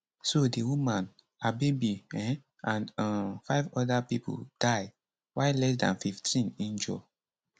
so di woman her baby um and um five oda pipo die while less dan fifteen injure